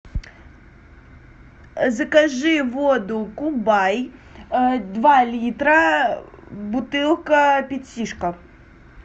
закажи воду кубай два литра бутылка пятишка